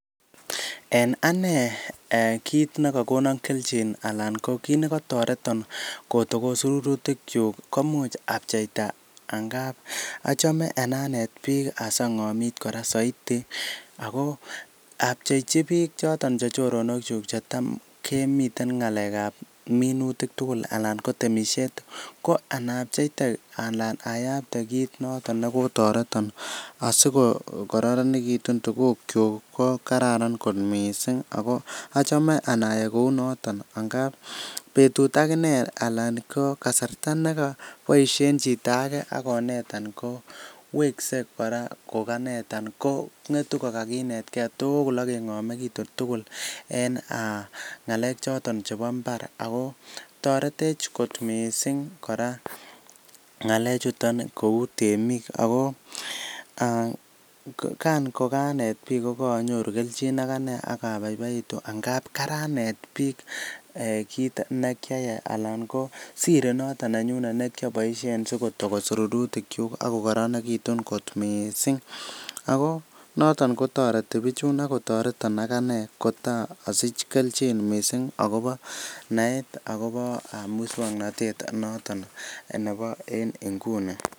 En ane kit nekokonon kelchin anan kit ne kotoreton kotokos rurutik kyuk komuch apcheita ngamun achame anendet biik asi ong'omit kora soiti ago apchechi biik choton che choronkyuk chetam kemiten ngalek ab minutik tuugl anan ko temisiet ko ana apcheite anan ayapte kiit noton ne kotoreton asikokororonegitun tuguk kyuk ko kararan kot mising ago achame ana yai kou noto angamun betut ak ine alan ko kasarta ne koboishen chito age ak konetan kowekse kora koganetan ko ng'etu kogakinetge tugul ak keng'omegitu tugul en ngalek choton chebo mbar ago toretech kot mising kora ngalechuton kou temik ago kan koganet biiik koganyoru kelchin ak ane ak abaibaitu amun karanet biik kit ne kyayai anan ko sir noto nenyun ne kioboisien sikotogos rurutikyuk ak kokoronegitun kot mising ago noton kotoreti bichun ak kotoreton ak ane asich kelchin mising agobo naet agobo muswaknatet noton nebo en nguni